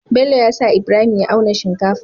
Bello yasa ibrahim ya auna shinkafa